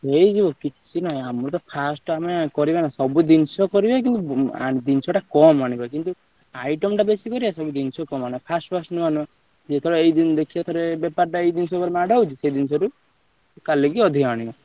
ହେଇଯିବ କିଛି ନାହିଁ ଆମର first ଆମେ କରିବା ସବୁ ଜିନିଷ କରିବା କିନ୍ତୁ ସବୁ ଜିନିଷ ଟା କମ ଆଣିବା item ଟା ବେଶୀ କରି ଆସିବନି ଜିନିଷ କମ ଆଣିବା first first ନୂଆ ନୂଆ ଯେତବେଳେ ଏଇଦିନ ଦେଖିବେ ଥରେ ବେପାର ଟା ଏଇ ଜିନିଷ ଉପରେ ନା ଟା ହଉଛି ସେଉଟୁ କାଲିକି ଅଧିକ ଆଣିବା।